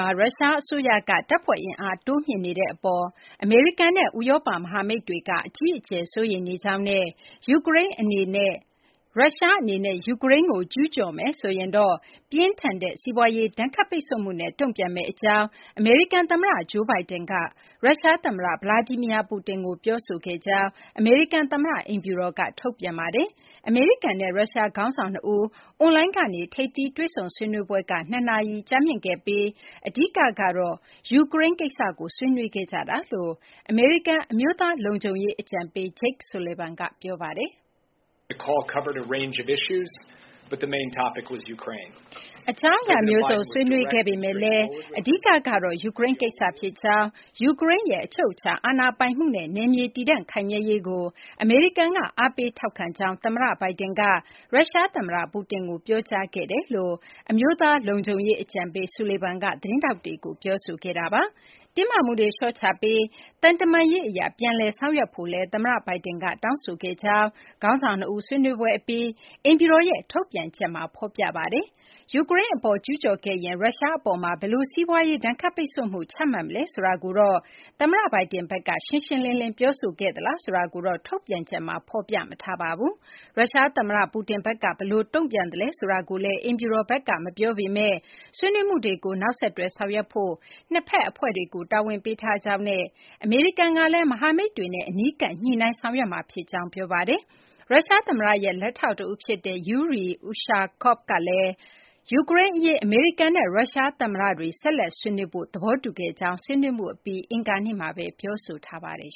ှာ ရုရှားအစိုးရက တပ်ဖွဲ့အင်အား တိုးမြှင့်နေတဲ့အပေါ် အမေရိကန်နဲ့ ဥရောပ မဟာမိတ်တွေက အကြီးအကျယ် စိုးရိမ်နေကြောင်းနဲ့ ရုရှားအနေနဲ့ ယူကရိန်းကို ကျူးကျော်မယ်ဆိုရင်တော့ ပြင်းထန်တဲ့ စီးပွားရေး ဒဏ်ခတ်ပိတ်ဆို့မှုနဲ့ တုံ့ပြန်မယ့်အကြောင်း အမေရိကန်သမ္မတ Joe Biden က ရုရှားသမ္မတ Vladimir Putin ကို ပြောဆိုခဲ့တယ်လို့ အမေရိကန်သမ္မတ အိမ်ဖြူတော်က ထုတ်ပြန်ထားပါတယ်။ အမေရိကန်နဲ့ ရုရှား ခေါင်းဆောင် ၂ ဦး အွန်လိုင်းကနေ ထိပ်သီး တွေ့ဆုံဆွေးနွေးပွဲက ၂ နာရီ ကြာမြင့်ခဲ့ပြီး အဓိကတော့ ယူကရိန်းကိစ္စကို ဆွေးနွေးခဲ့ကြောင်း အမေရိကန် အမျိုးသားလုံခြုံရေး အကြံပေး Jake Sullivan က ပြောပါတယ်။ “အကြောင်းအရာမျိုးစုံ ဆွေးနွေးခဲ့ပေမယ့်လည်း အဓိကကတော့ ယူကရိန်းကိစ္စ ဖြစ်ကြောင်း၊ ယူကရိန်းရဲ့ အချုပ်အခြာ အာဏာပိုင်မှုနဲ့ နယ်မြေတည်တံ့ ခိုင်မြဲရေးကို အမေရိကန်က အားပေးထောက်ခံကြောင်း သမ္မတ Biden က ရုရှားသမ္မတ Putin ကို ပြောကြားခဲ့ကြောင်း” အမေရိကန် အမျိုးသားလုံခြုံရေး အကြံပေး Sullivan က သတင်းထောက်တွေကို ပြောဆိုခဲ့တာပါ။ တင်းမာမှုတွေ လျှော့ချပြီး သံတမန်ရေးအရ ပြန်လည်ဆောင်ရွက်ဖို့လည်း သမ္မတ Biden က တောင်းဆိုခဲ့ကြောင်းလည်း ခေါင်းဆောင် ၂ ဦး ဆွေးနွေးပွဲအပြီး အိမ်ဖြူတော်ရဲ့ ထုတ်ပြန်ချက်မှာ ဖော်ပြထားပါတယ်။ ယူကရိန်းအပေါ် ကျူးကျော်ခဲ့ရင် ရုရှားအပေါ် ဘယ်လို စီးပွားရေး ဒဏ်ခတ်ပိတ်ဆို့မှု ချမှတ်မလဲ ဆိုတာကို သမ္မတ Biden ဘက်က ရှင်းရှင်းလင်းလင်း ပြောဆိုခဲ့သလား ဆိုတာကိုတော့ ထုတ်ပြန်ချက်မှာ ဖော်ပြမထားပါဘူး။ ရုရှားသမ္မတ Putin ဘက်က ဘယ်လိုတုံ့ပြန်သလဲ ဆိုတာကို အိမ်ဖြူတော်ဘက်က မပြောပေမယ့် ဆွေးနွေးမှုတွေကို နောက်ဆက်တွဲ ဆောင်ရွက်ဖို့ နှစ်ဖက်အဖွဲ့တွေကို တာဝန်ပေးထားကြောင်းနဲ့ အမေရိကန်ကလည်း မဟာမိတ်တွေနဲ့ အနီးကပ် ညှိနှိုင်းဆောင်ရွက်မှာဖြစ်ကြောင်း ပြောပါတယ်။ ရုရှားသမ္မတရဲ့ လက်ထောက်တဦးဖြစ်တဲ့ Yuri Ushakov ကတော့ ယူကရိန်းအရေး အမေရိကန်နဲ့ ရုရှားသမ္မတတွေ ဆက်လက်ဆွေးနွေးဖို့ သဘောတူခဲ့ကြကြောင်း ဆွေးနွေးမှုအပြီး အင်္ဂါနေ့မှာပဲ ပြောဆိုထားပါတယ်